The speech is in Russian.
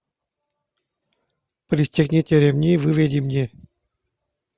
пристегните ремни выведи мне